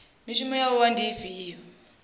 mishumo ya wua ndi ifhio